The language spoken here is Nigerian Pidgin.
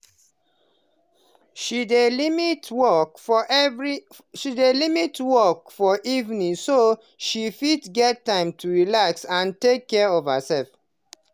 she dey limit work for evening so she fit get time to relax and take care of herself.